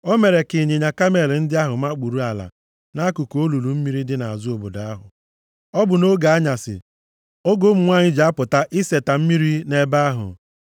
O mere ka ịnyịnya kamel ndị ahụ makpuru ala nʼakụkụ olulu mmiri dị nʼazụ obodo ahụ. Ọ bụ nʼoge anyasị, oge ụmụ nwanyị ji apụta iseta mmiri nʼebe ahụ.